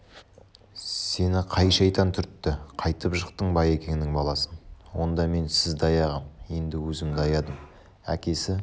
сені қай шайтан түртті қайтіп жықтың байекеңнің баласын онда мен сізді аяғам енді өзімді аядым әкесі